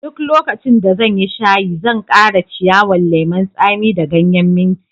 Duk lokacin da zan yi shayi, zan kara ciyawan lemun tsami da ganyen minti.